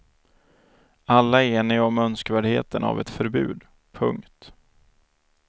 Alla är eniga om önskvärdheten av ett förbud. punkt